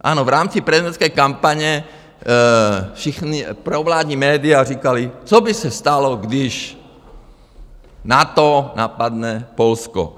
Ano, v rámci prezidentské kampaně všichni, provládní média říkala, co by se stalo, když NATO napadne Polsko.